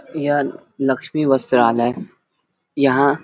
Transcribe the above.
यह लक्ष्मी वस्त्रालय यहाँ--